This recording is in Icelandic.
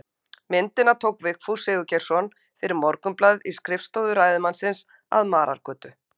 Myndina tók Vigfús Sigurgeirsson fyrir Morgunblaðið í skrifstofu ræðismannsins að Marargötu